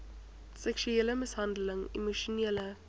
seksuele mishandeling emosionele